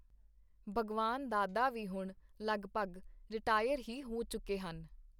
ਭਗਵਾਨ ਦਾਦਾ ਵੀ ਹੁਣ ਲਗਭਗ ਰਿਟਾਇਰ ਹੀ ਹੋ ਚੁੱਕੇ ਹਨ.